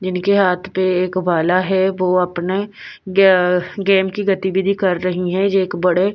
जिनके हाथ पे एक बाला है वो अपने अ गेम की गतिविधि कर रही है यह एक बड़े--